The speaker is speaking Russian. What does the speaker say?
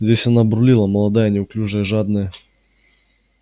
здесь она бурлила молодая неуклюжая жадная